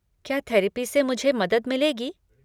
क्या थेरपी से मुझे मदद मिलेगी?